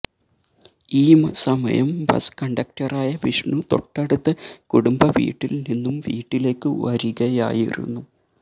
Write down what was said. ഈ സമയം ബസ് കണ്ടക്ടറായ വിഷ്ണു തൊട്ടടുത്ത കുടുംബവീട്ടില് നിന്നും വീട്ടിലേക്കു വരികയായിരുന്നു